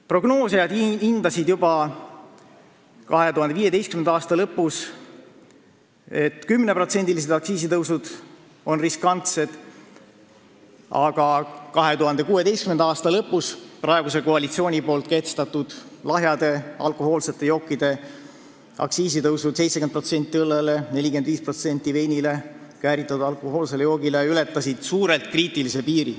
Prognoosijad hindasid juba 2015. aasta lõpus, et 10%-lised aktsiisitõusud on riskantsed, aga 2016. aasta lõpus praeguse koalitsiooni kehtestatud lahjade alkohoolsete jookide aktsiiside tõusud – 70% õllele, 45% veinile ja kääritatud alkohoolsele joogile – ületasid suurelt kriitilise piiri.